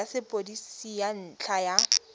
ya sepodisi ka ntlha ya